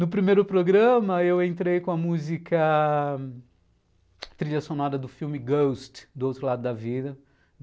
No primeiro programa, eu entrei com a música trilha sonora do filme Ghost, do outro lado da vida.